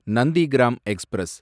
Nandigram express